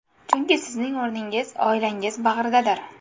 Chunki sizning o‘rningiz oilangiz bag‘ridadir.